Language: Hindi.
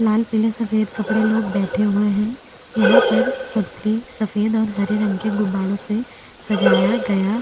लाल पीले सफेद कपड़े लोग बैठे हुए हैं यहाँ पर सब त्रि सफेद और हरे रंग के गुब्बारो से सजाया गया --